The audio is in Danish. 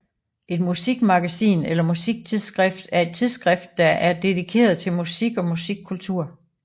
Et musikmagasin eller musiktidsskrift er et tidsskrift der er dedikeret til musik og musikkultur